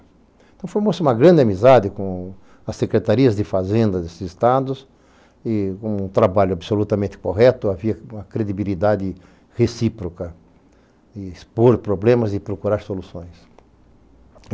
Então, formou-se uma grande amizade com as secretarias de fazendas desses estados e, com um trabalho absolutamente correto, havia uma credibilidade recíproca de expor problemas e procurar soluções.